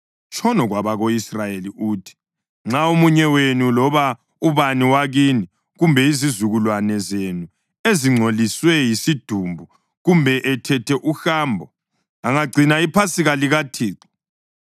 “Tshono kwabako-Israyeli uthi: ‘Nxa omunye wenu loba ubani wakini kumbe izizukulwane zenu ezingcoliswe yisidumbu kumbe ethethe uhambo, angagcina iPhasika likaThixo.